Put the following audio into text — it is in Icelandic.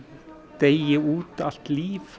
deyi út allt líf